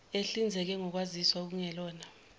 ehlinzeke ngokwaziswa okungelona